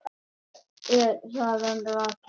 Þar er sagan rakin.